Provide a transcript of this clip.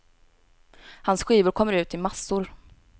Hans skivor kommer ut i massor.